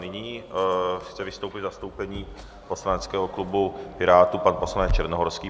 Nyní chce vystoupit v zastoupení poslaneckého klubu Pirátů pan poslanec Černohorský.